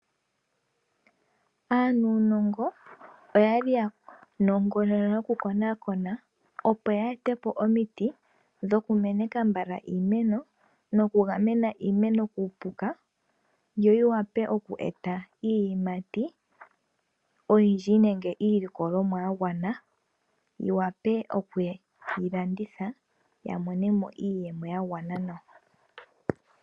Aanuunongo oyali ya nongonona noku konakona opo yeete po omiti dhoku kokeka iimeno noku gamena iimeno, yo yi wape okweeta iiyimati oyindji nenge iilikolomwa yagwana ya wape okuyi landitha yamone mo iiyemo yagwana nawa.